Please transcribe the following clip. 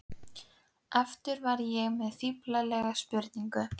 Aftur var ég með fíflalega spurningu.